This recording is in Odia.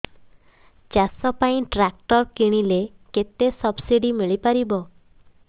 ଚାଷ ପାଇଁ ଟ୍ରାକ୍ଟର କିଣିଲେ କେତେ ସବ୍ସିଡି ମିଳିପାରିବ